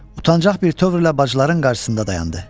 Utancaq bir tövr ilə bacıların qarşısında dayandı.